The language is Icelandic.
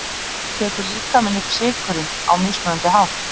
tekur líkaminn upp sykurinn á mismunandi hátt